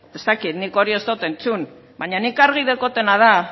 ez dakit nik hori ez dut entzun baina nik argi daukatena da